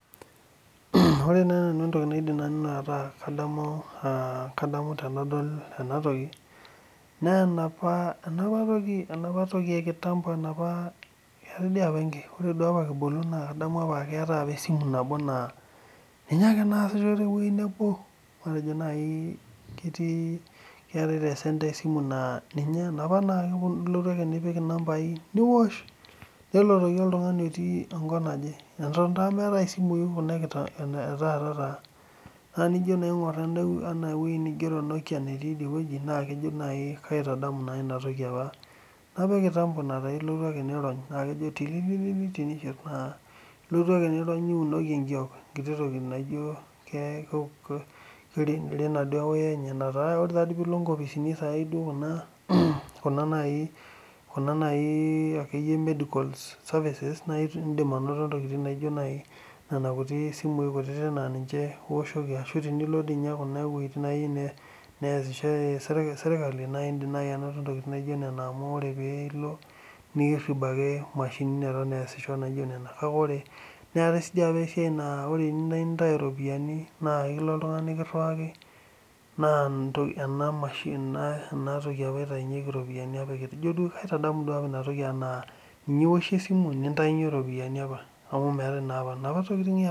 Ore naaji entoki naidim naanu ataa kadamu tenadol ena toki naa enapa toki ee ekitampo enapa keetae apa esimu nabo naa ninye ake nasisho tewueji nebo matejo naaji keetae tee center esimu naa eleotu ake nipik enambai niosh enepu doi oltung'ani otii enkop naaje Eton taa meetae esimui enaa Kuna etaata naa tenijoo aing'or Kuna etaata enaa Nokia naa kaitadamu enapaa ekitampo naa elotu ake niriony nejo tlili tenishir naa elotu ake niriony niunoki Enkitok enkiti toki naijio kirena ee wire enye naa olee pilo nkpisini Kuna najii medica services naa etum Nena simui kutiti naa ninche ewoshoki arashu tenilo kune wuejitin nesishore sirkali naa indim naaji anoto ntokitin naijio Nena amu oree piilo naa erib ake mashinini naijio Nena neton esisho kake ore keetae esiai naa teniyieu nintau ropiani naa ekilo oltung'ani nikiriwaki naa ena mashini enatoki apa entaunye ropiani kadamu duo apa ena toki ena ninye ewoshie [ce]esimu nintaunye ropiani apa amu meetae naapa naapa tokitin yaapa